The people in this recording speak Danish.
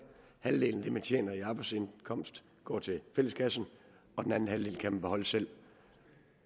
halvdelen af det man tjener i arbejdsindkomst går til fælleskassen og den anden halvdel kan man beholde selv